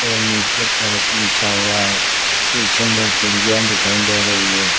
और नीचे फर्श बिछा हुआ है पीछे दो खिड़कियां दिखाई दे रही है।